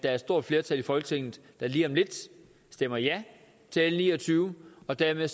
er et stort flertal i folketinget der lige om lidt stemmer ja til l ni og tyve og dermed